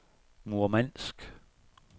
Murmansk